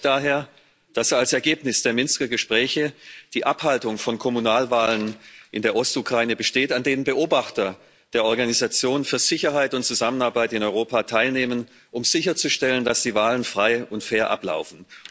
Ich freue mich daher, dass als Ergebnis der Minsker Gespräche die Abhaltung von Kommunalwahlen in der Ostukraine steht, an denen Beobachter der Organisation für Sicherheit und Zusammenarbeit in Europa teilnehmen, um sicherzustellen, dass die Wahlen frei und fair ablaufen.